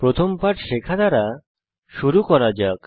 প্রথম পাঠ শেখা দ্বারা শুরু করা যাক